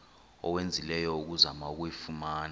owenzileyo ukuzama ukuyifumana